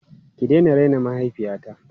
Ki daina raina mahaifiyata!